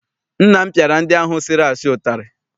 Nna m piara ndị ahụ sịrị asị utari.